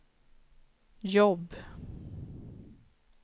jobb